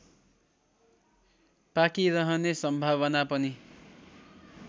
पाकिरहने सम्भावना पनि